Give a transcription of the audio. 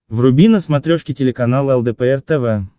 вруби на смотрешке телеканал лдпр тв